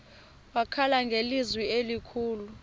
wakhala ngelizwi elikhulu